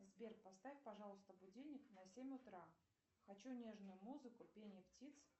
сбер поставь пожалуйста будильник на семь утра хочу нежную музыку пение птиц